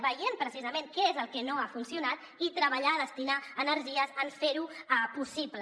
vegem precisament què és el que no ha funcionat i treballem destinem energies en fer ho possible